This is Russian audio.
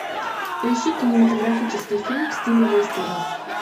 поищи кинематографический фильм в стиле вестерна